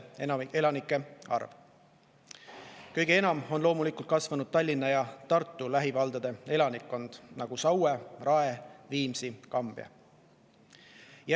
Kõige enam on loomulikult kasvanud Tallinna ja Tartu lähivaldade, nagu Saue, Rae, Viimsi ja Kambja elanikkond.